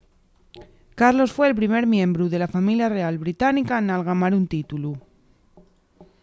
carlos fue'l primer miembru de la familia real británica n’algamar un títulu